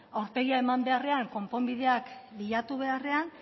aurpegia eman beharrean konponbideak bilatu beharrean